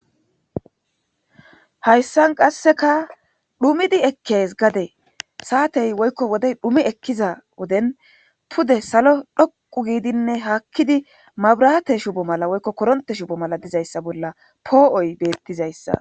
Hayssan qasseka dhumidi ekkes gade saatey woykko wode dhumi ekkiza woden pude salo dhoqu giidinne haakkidi mabrate shubo mala woykko koronte shubo mala dizayssa bolla poo7oy beettizayssa